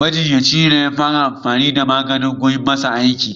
Majinyacin ne ya fara gwada amfani da maganin kum ya yi masa aiki.